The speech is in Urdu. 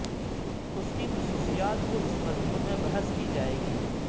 اس کی خصوصیات کو اس مضمون میں بحث کی جائے گی